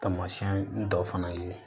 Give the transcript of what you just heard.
Taamasiyɛn dɔw fana ye